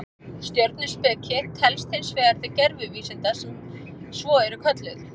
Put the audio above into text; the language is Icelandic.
Stjörnuspeki telst hins vegar til gervivísinda sem svo eru kölluð.